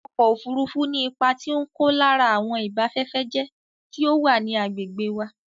Ọkọ̀ ofurufu ní ipá tí o n kó lára àwọn ìbafẹ́fẹ́jẹ́ tí ò wà ní àgbègbè wa